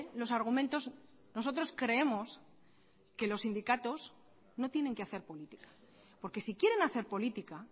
los argumentos nosotros creemos que los sindicatos no tienen que hacer política porque si quieren hacer política